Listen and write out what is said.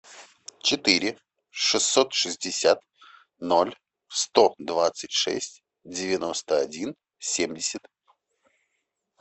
четыре шестьсот шестьдесят ноль сто двадцать шесть девяносто один семьдесят